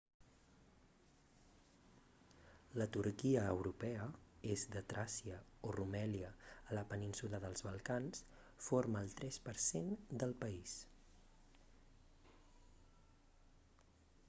la turquia europea est de tràcia o rumèlia a la península dels balcans forma el 3% del país